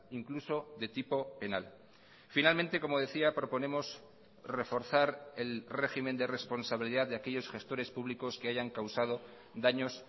incluso de tipo penal finalmente como decía proponemos reforzar el régimen de responsabilidad de aquellos gestores públicos que hayan causado daños